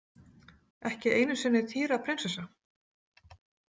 Ekki einu sinni Thyra prinsessa?